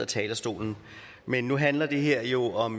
talerstolen men nu handler det her jo om